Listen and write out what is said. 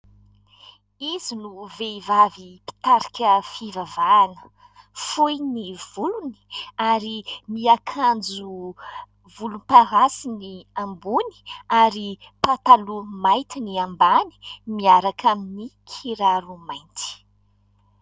Izy no vehivavy mpitarika fivavahana, fohy ny volony ary miakanjo volomparasy ny ambony ary pataloha mainty ny ambany miaraka amin'ny kiraro mainty.